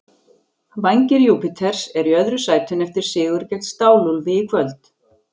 Vængir Júpiters eru í öðru sætinu eftir sigur gegn Stál-úlfi í kvöld.